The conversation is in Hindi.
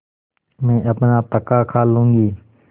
मैं अपना पकाखा लूँगी